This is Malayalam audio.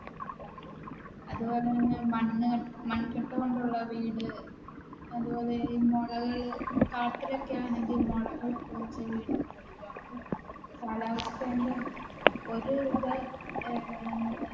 അതുപോലെ തന്നെ മണ്ണ്മൺകട്ട കൊണ്ടുള്ള വീട് അതുപോലെ മുളകൾ കാട്ടിലൊക്കെ ആണെങ്കിൽ കാലവസ്ഥ ന്റെ ഒരു ഇത്